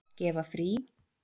Gefa frí.